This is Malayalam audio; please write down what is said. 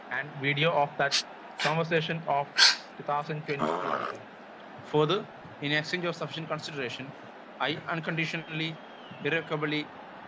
speaker 1 and video of the conversation of two thousand twenty twenty two fourth finishing suggestion consideration I unconditionally irrevocably